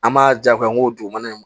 An b'a ja ko an ko dugumana in